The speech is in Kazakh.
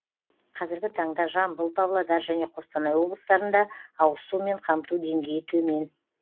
қазіргі таңда жамбыл павлодар және қостанай облыстарында ауызсумен қамту деңгейі төмен